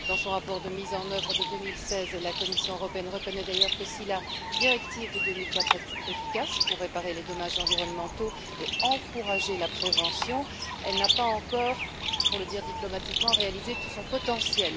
Dans son rapport de mise en œuvre de 2016, la Commission européenne reconnaît d'ailleurs que, si la directive de 2004 est efficace pour réparer les dommages environnementaux et encourager la prévention, elle n'a pas encore pour le dire diplomatiquement réalisé tout son potentiel.